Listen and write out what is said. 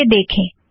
आइए देखें